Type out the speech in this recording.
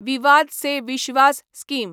विवाद से विश्वास स्कीम